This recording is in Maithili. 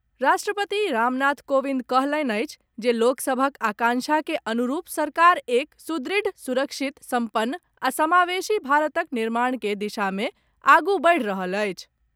राष्ट्रपति रामनाथ कोविंद कहलनि अछि जे लोकसभक आकांक्षा के अनुरूप सरकार एक सुदृढ़, सुरक्षित सम्पन्न आ समावेशी भारतक निर्माण के दिशा मे आगू बढ़ि रहल अछि।